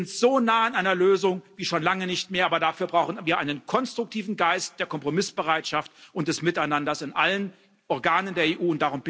Wir sind so nah an einer Lösung wie schon lange nicht mehr. Aber dafür brauchen wir einen konstruktiven Geist der Kompromissbereitschaft und des Miteinanders in allen Organen der